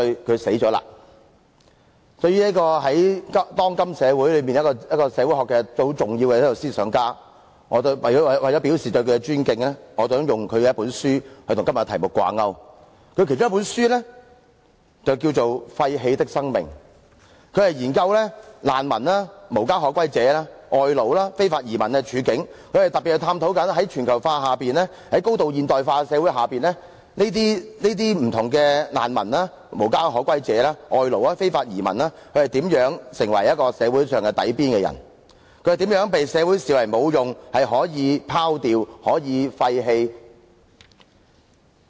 對於當今社會一位相當重要的社會學思想家，為了表示對他的尊敬，我引用他一本書，以與今天的題目掛鈎。他其中一本著作書名為《廢棄的生命》，他研究難民、無家可歸者、外勞和非法移民的處境，他特別探討在全球化下、在高度現代化的社會下，這些不同的難民、無家可歸者、外勞和非法移民如何成為一個社會最底層的人，他們是如何被社會視為無用、可以拋掉、可以廢棄的人。